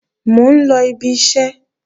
Mò ń lọ ibi iṣẹ́